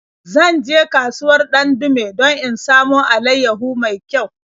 Zan je kasuwar Dandume don in samo alaiyahu mai kyau.